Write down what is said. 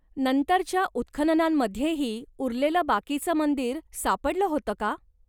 नंतरच्या उत्खननांमध्येही उरलेलं बाकीचं मंदिर सापडलं होतं का?